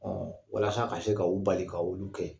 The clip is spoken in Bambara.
Ɔn walasa ka se ka o bali ka olu kɛ.